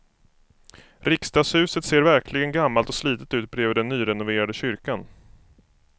Riksdagshuset ser verkligen gammalt och slitet ut bredvid den nyrenoverade kyrkan.